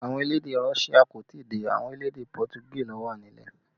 Àwọn elédè Russia kò tí ì dé, àwọn elédè Pọtugí ló wà nílẹ̀